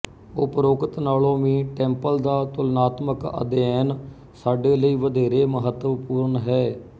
ਉਪਰੋਕਤ ਨਾਲੋਂ ਵੀ ਟੈੰਪਲ ਦਾ ਤੁਲਨਾਤਮਕ ਅਧਿਐਨ ਸਾਡੇ ਲਈ ਵਧੇਰੇ ਮਹੱਤਵਪੂਰਣ ਹੈ